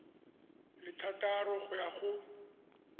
le thataro go ya go